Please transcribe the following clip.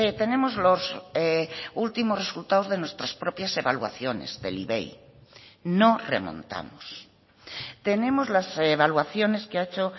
tenemos los últimos resultados de nuestras propias evaluaciones del ivei no remontamos tenemos las evaluaciones que ha hecho